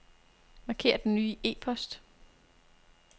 Marker den nye e-post.